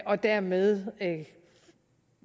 og dermed